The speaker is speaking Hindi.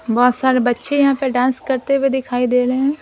बहुत सारे बच्चे यहां पे डांस करते हुए दिखाई दे रहे है।